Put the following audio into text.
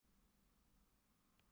Sjúklingurinn greip um höfuð sér.